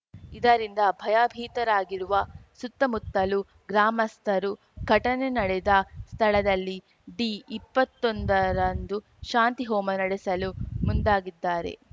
ಇದರಿಂದ ಭಯಭೀತರಾಗಿರುವ ಸುತ್ತಮುತ್ತಲು ಗ್ರಾಮಸ್ಥರು ಘಟನೆ ನಡೆದ ಸ್ಥಳದಲ್ಲಿ ಡಿಇಪ್ಪತ್ತೊಂದ ರಂದು ಶಾಂತಿ ಹೋಮ ನಡೆಸಲು ಮುಂದಾಗಿದ್ದಾರೆ